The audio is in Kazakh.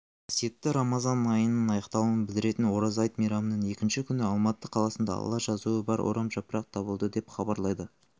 қасиетті рамазан айының аяқталуын білдіретін ораза айт мейрамының екінші күні алматы қаласында алла жазуы бар орамжапырақ табылды деп хабарлайды